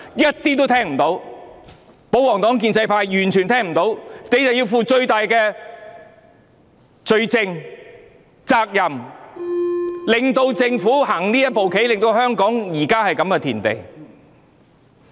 可是，保皇黨及建制派完全聽不到，所以他們必須負上最大責任，是他們令政府行這步棋，令香港弄至這個田地。